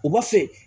O b'a fɛ